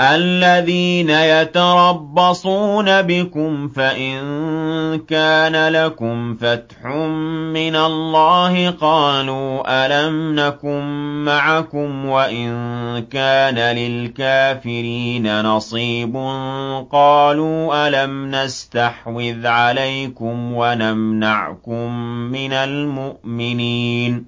الَّذِينَ يَتَرَبَّصُونَ بِكُمْ فَإِن كَانَ لَكُمْ فَتْحٌ مِّنَ اللَّهِ قَالُوا أَلَمْ نَكُن مَّعَكُمْ وَإِن كَانَ لِلْكَافِرِينَ نَصِيبٌ قَالُوا أَلَمْ نَسْتَحْوِذْ عَلَيْكُمْ وَنَمْنَعْكُم مِّنَ الْمُؤْمِنِينَ ۚ